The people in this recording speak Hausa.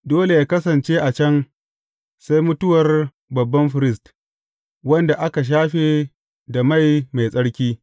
Dole yă kasance a can sai mutuwar babban firist, wanda aka shafe da mai mai tsarki.